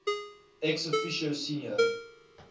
ex officio senior